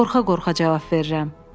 Qorxa-qorxa cavab verirəm.